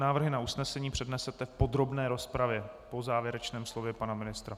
Návrhy na usnesení přednesete v podrobné rozpravě po závěrečném slově pana ministra.